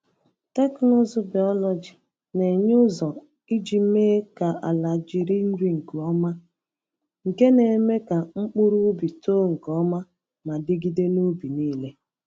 Teknụzụ biọlọjị na-enye ụzọ iji mee ka ala jiri nri nke ọma, nke na-eme ka mkpụrụ ubi too nke ọma ma dịgide n’ubi niile.